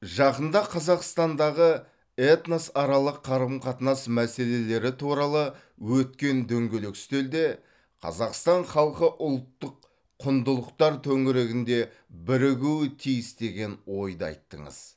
жақында қазақстандағы этносаралық қарым қатынас мәселелері туралы өткен дөңгелек үстелде қазақстан халқы ұлттық құндылықтар төңірегінде бірігуі тиіс деген ойды айттыңыз